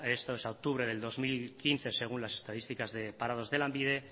esto es a octubre del dos mil quince según las estadísticas de parados de lanbide